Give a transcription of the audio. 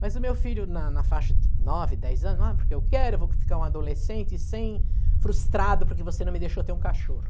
Mas o meu filho, na na faixa de nove, dez anos, ah, porque eu quero, eu vou ficar um adolescente sem... frustrado porque você não me deixou ter um cachorro.